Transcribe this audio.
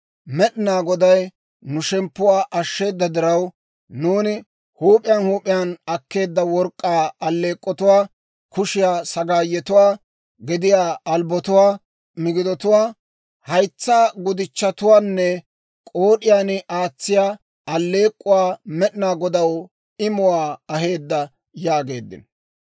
Med'inaa Goday nu shemppuwaa ashsheeda diraw, nuuni huup'iyaan huup'iyaan akkeedda work'k'aa alleek'k'otuwaa, kushiyaa sagaayetuwaa, gediyaa albbotuwaa, migidotuwaa, haytsaa lotatuwaanne k'ood'iyaan aatsiyaa alleek'k'uwaa Med'inaa Godaw imuwaa aheeddo» yaageeddino.